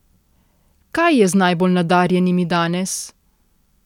Kaj je z najbolj nadarjenimi danes?